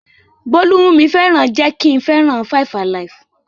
Bólú mú mi fẹ́ràn jẹ́ kí n fẹ́ràn 5-alive.